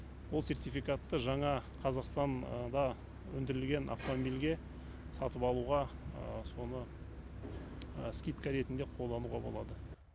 ол сертификатты жаңа қазақстанда өндірілген автомобильге сатып алуға соны скидка ретінде қолдануға болады